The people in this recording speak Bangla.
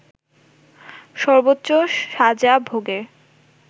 সর্বোচ্চ সাজা ভোগের